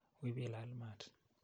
Wi pilal maat.